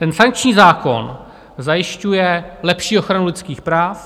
Ten sankční zákon zajišťuje lepší ochranu lidských práv.